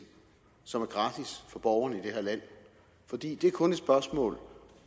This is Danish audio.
som er gratis for borgerne i det her land for det er kun et spørgsmål